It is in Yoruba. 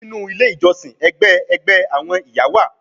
Ninu ile ijọsin, ẹgbẹ ẹgbẹ awọn iya wa